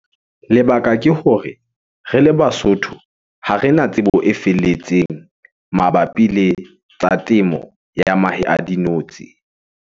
Lebaka ke hore re le Basotho, ha rena tsebo e felletseng mabapi le tsa temo ya mahe a dinotshi.